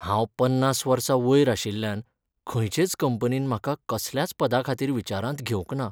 हांव पन्नास वर्सां वयर आशिल्ल्यान खंयचेच कंपनीन म्हाका कसल्याच पदाखातीर विचारांत घेवंक ना.